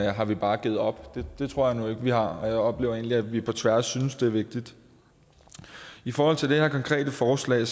har vi bare givet op det tror jeg nu ikke vi har jeg oplever egentlig at vi på tværs synes det er vigtigt i forhold til det her konkrete forslag